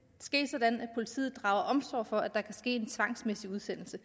ske sådan at politiet drager omsorg for at der kan ske en tvangsmæssig udsendelse